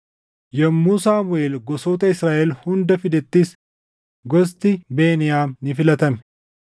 Yommuu Saamuʼeel gosoota Israaʼel hunda fidettis gosti Beniyaam ni filatame.